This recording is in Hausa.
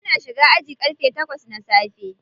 Muna shiga aji ƙarge takwas na safe.